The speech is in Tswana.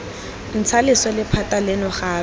ntsha leswe lephata leno gape